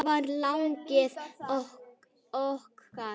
Þetta var lagið okkar.